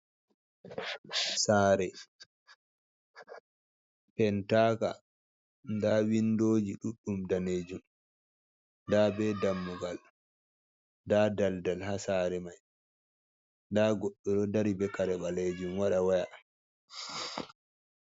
Saare, pentaaka ndaa winndoji ɗuuɗɗum daneejum nda be dammugal nda daldal haa saare mai ndaa goɗɗo dari bee kare baleejum waɗa waya